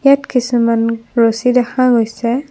ইয়াত কিছুমান ৰছী দেখা গৈছে।